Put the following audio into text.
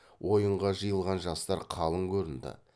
ойынға жиылған жастар қалың көрінді